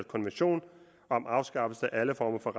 konvention om afskaffelse af alle former for